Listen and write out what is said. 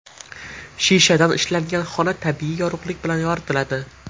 Shishadan ishlangan xona tabiiy yorug‘lik bilan yoritiladi.